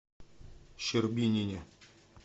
щербинине